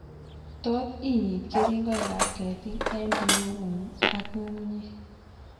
Tot inyit kering'oik ab keetik eng' biuut ng'ung ak ng'ung'unyek